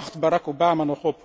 Waar wacht Barack Obama nog op?